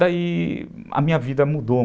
Daí a minha vida mudou.